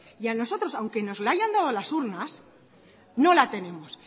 y a nosotros aunque nos la hayan dado a las urnas no la tenemos